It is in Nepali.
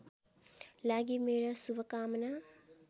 लागि मेरो शुभकामना